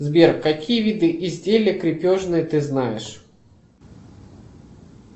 сбер какие виды изделий крепежных ты знаешь